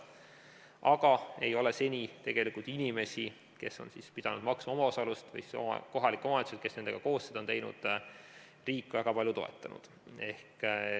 Aga seni tegelikult inimesi, kes on pidanud maksma omaosalust, või siis kohalikke omavalitsusi, kes nendega koos seda on teinud, ei ole riik väga palju toetanud.